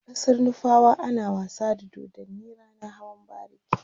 a ƙasar nufawa ana wasa da dodanni ranan hawan bariki